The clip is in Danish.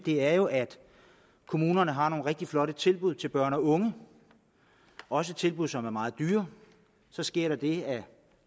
er jo at kommunerne har nogle rigtig flotte tilbud til børn og unge også tilbud som er meget dyre så sker der det at